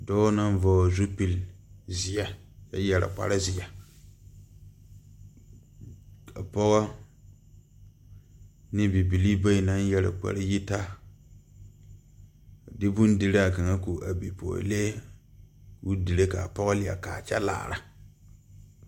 Dɔɔ naŋ vɔgle zupil zeɛ a yɛre kparezeɛ ka pɔgɔ ne bibilii bayi naŋ yɛre kpare yitaa de bondiraa kaŋa ko a bipɔɔlee koo dire kaa pɔɔ liɛ kaa kyɛ laara.